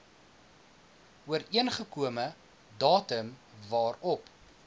ooreengekome datum waarop